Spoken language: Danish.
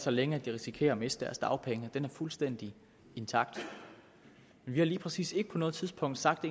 så længe at de risikerer at miste deres dagpenge er fuldstændig intakt vi har lige præcis ikke på noget tidspunkt sagt